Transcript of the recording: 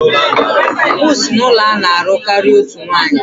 M si n'ụlọ a na-alụ karịa otu nwanyị